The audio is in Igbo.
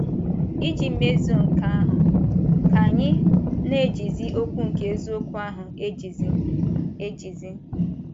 Iji mezuo nke ahụ, ka anyị “ na - ejizi okwu nke eziokwu ahụ ejizi. ejizi. ”